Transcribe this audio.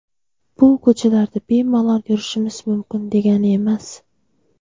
Bu ko‘chalarda bemalol yurishimiz mumkin, degani emas.